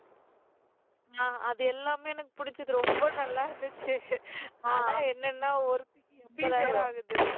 அஹ் அது எல்லாமே எனக்கு புடிச்சது ரொம்ப நல்லா இருந்துச்சு ஆனா என்னன்னா ஒருத்திக்கு எண்பதாயிரம் ஆகுது